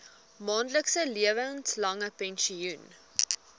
maandelikse lewenslange pensioen